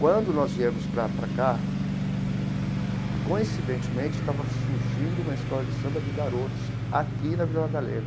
Quando nós viemos para para cá, coincidentemente, estava surgindo uma escola de samba de garotos aqui na Vila Madalena.